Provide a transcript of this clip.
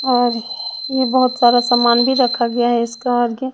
और ये बहोत सारा सामान भी रखा गया है इसका आगे।